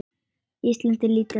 Ísland er lítið land.